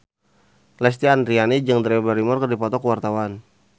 Lesti Andryani jeung Drew Barrymore keur dipoto ku wartawan